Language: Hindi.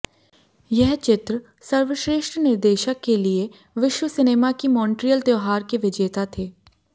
यह चित्र सर्वश्रेष्ठ निर्देशक के लिए विश्व सिनेमा की मॉन्ट्रियल त्योहार के विजेता थे